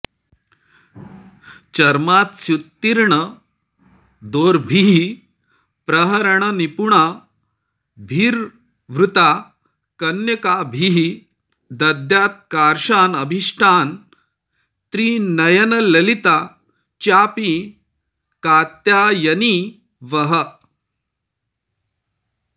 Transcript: चर्मास्युत्तीर्णदोर्भिः प्रहरणनिपुणाभिर्वृता कन्यकाभिः दद्यात्कार्शानभीष्टान् त्रिणयनललिता चापि कात्यायनी वः